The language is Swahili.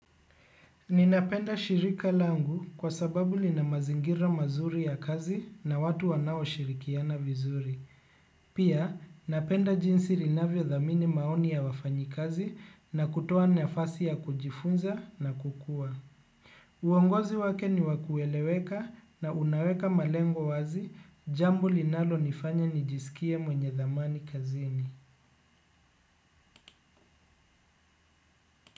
Ninapenda shirika langu kwa sababu lina mazingira mazuri ya kazi na watu wanao shirikiana vizuri. Pia, napenda jinsi linavyo dhamini maoni ya wafanyikazi na kutoa nafasi ya kujifunza na kukua. Uongozi wake ni wa kueleweka na unaweka malengo wazi, jambo linalo nifanya nijisikie mwenye dhamani kazini.